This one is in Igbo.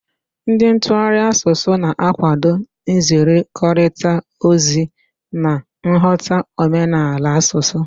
Ndị ntụgharị asụsụ na-akwado nzikọrịta ozi na nghọta omenala asụsụ.